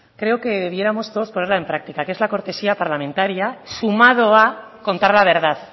creo que debiéramos todos ponerla en práctica que es la cortesía parlamentaria sumado a contar la verdad